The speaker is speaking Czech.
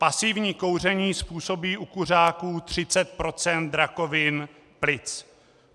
Pasivní kouření způsobí u kuřáků 30 % rakovin plic.